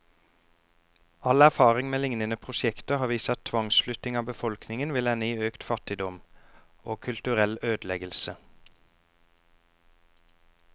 All erfaring med lignende prosjekter har vist at tvangsflytting av befolkningen vil ende i økt fattigdom, og kulturell ødeleggelse.